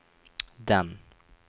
den